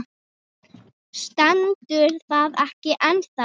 Stendur það ekki ennþá?